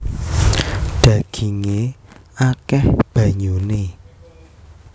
Dhagingé akèh banyuné